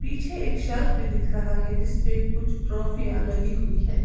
पीछे एक शेल्फ भी दिख रहा है जिसपे कुछ ट्रॉफियां लगीं हुई है।